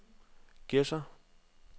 Gedser